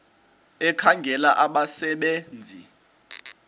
ekhangela abasebe nzi